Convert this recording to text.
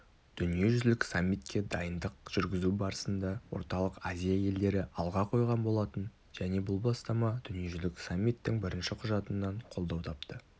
дүниежүзілік саммитке дайындық жүргізу барысында орталық азия елдері алға қойған болатын және бұл бастама дүниежүзілік саммиттің бірінші құжатынан қолдау тапты